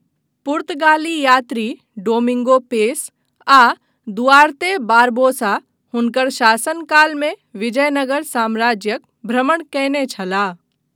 पुर्तगाली यात्री Domingo Paes आ दुआर्ते बारबोसा हुनकर शासनकालमे विजयनगर साम्राज्यक भ्रमण कयने छलाह।